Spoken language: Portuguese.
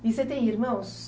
E você tem irmãos?